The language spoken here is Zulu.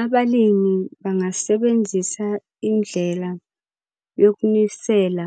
Abalimi bangasebenzisa indlela yokunisela